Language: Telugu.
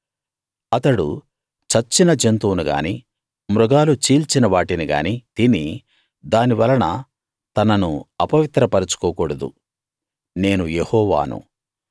అతడు చచ్చిన జంతువును గానీ మృగాలు చీల్చిన వాటిని గాని తిని దాని వలన తనను అపవిత్ర పరచుకోకూడదు నేను యెహోవాను